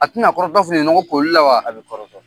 A ti na kɔrɔtɔ fininɔgɔ kolila wa ? A bi kɔrɔtɔ.